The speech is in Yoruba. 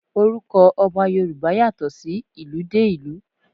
Orúkọ Ọba Yorùbá yàtọ̀ sí ìlú dé ìlú.